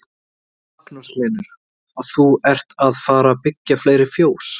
Magnús Hlynur: Og þú ert að fara byggja fleiri fjós?